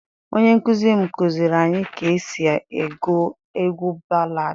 onye nkuzi m kuziri anyi ka e si egu egwu baladi.